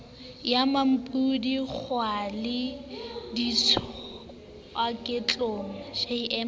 ya mmampodi kgwaolla ditswakotleng jm